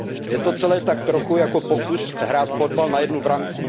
Je to celé tak trochu jako pokus hrát fotbal na jednu branku.